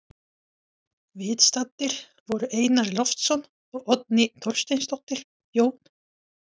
Viðstaddir voru Einar Loftsson og Oddný Þorsteinsdóttir, Jón